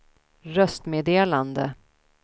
röstmeddelande